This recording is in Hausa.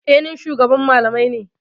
Eh, ni ne shugaban malamai.